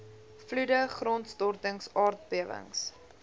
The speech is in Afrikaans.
vloede grondstortings aardbewings